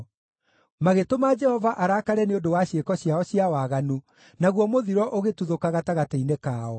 magĩtũma Jehova arakare nĩ ũndũ wa ciĩko ciao cia waganu, naguo mũthiro ũgĩtuthũka gatagatĩ-inĩ kao.